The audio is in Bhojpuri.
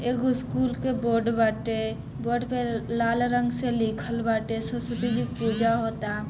एगो स्कूल के बोर्ड बाटे बोर्ड पे लाल रंग से लिखल बाटे सरस्वती जी के पूजा होता।